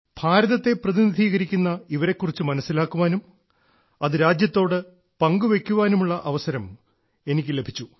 ഭാരതത്തെ പ്രതിനിധീകരിക്കുന്ന ഇവരെ കുറിച്ച് മനസ്സിലാക്കുവാനും അത് രാജ്യത്തോട് പങ്കുവെയ്ക്കാനുമുള്ള അവസരം എനിക്ക് ലഭിച്ചു